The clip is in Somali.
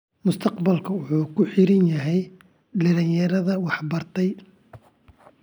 Mustaqbalka wuxuu ku xiran yahay dhallinyaradeeda wax bartay.